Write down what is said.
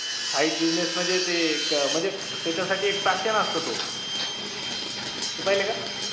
side business म्हणजे ते एक म्हणजे त्याच्यासाठी एक passion असतो तो तुम्ही पाहिलं का?